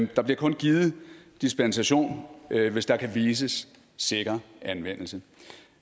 der bliver kun givet dispensation hvis der kan vises sikker anvendelse